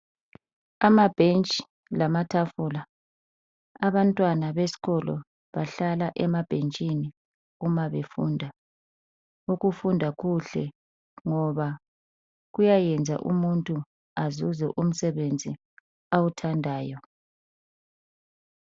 amabhensth lamatafula abantwana besikolo bahlala emabhentshini kumbe uma befunda ukufunda kuhle ngoba kuyayenza umuntu azuze umsebenzi awuthandayo